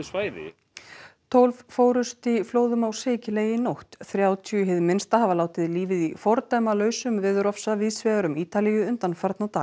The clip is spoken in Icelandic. tólf fórust í flóðum á Sikiley í nótt þrjátíu hið minnsta hafa látið lífið í fordæmalausum víðs vegar um Ítalíu undanfarna daga